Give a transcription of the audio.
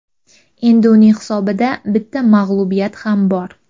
Endi uning hisobida bitta mag‘lubiyat ham bor.